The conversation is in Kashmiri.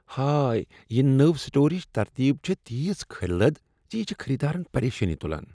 ہاے! یہ نٔو سٹورٕچ ترتیب چھےٚ تیٖژ کھرۍلد۔ یہ چھ خریدارن پریشٲنی تلان۔